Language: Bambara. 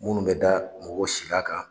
Munnu bɛ da mɔgɔ si l'a kan.